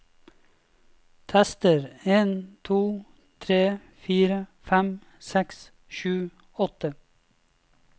Tester en to tre fire fem seks sju åtte